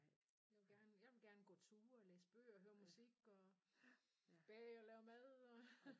Jeg vil gerne jeg vil gerne gå ture og læse bøger høre musik og bage og lave mad og